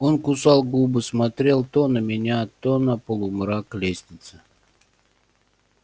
он кусал губы смотрел то на меня то на полумрак лестницы